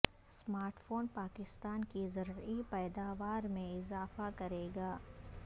smart phone Pakistan کی زرعی پیداوار میں اضافہ کرے گا